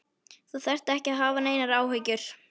Þú þarft ekki að hafa neinar áhyggjur.